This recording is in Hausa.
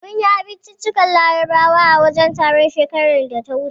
Mun yi abinciccikan Larabawa a wajen taron, shekarar da ta wuce.